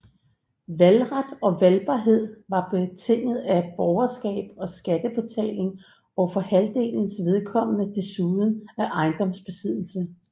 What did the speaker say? Valgret og valgbarhed var betinget af borgerskab og skattebetaling og for halvdelens vedkommende desuden af ejendomsbesiddelse